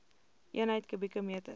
eenheid kubieke meter